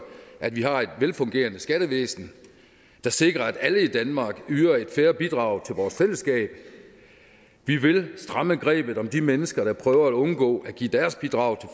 at vi har et velfungerende skattevæsen der sikrer at alle i danmark yder et fair bidrag til vores fællesskab vi vil stramme grebet om de mennesker der prøver at undgå at give deres bidrag